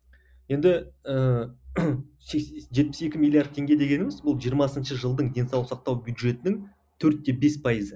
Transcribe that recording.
енді ііі жетпіс екі миллиард теңге дегеніміз бұл жиырмасыншы жылдың денсаулық сақтау бюджетінің төрт те бес пайызы